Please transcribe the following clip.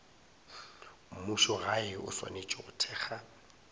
mmušogae o swanetše go thekga